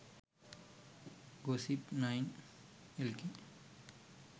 gossip9 lk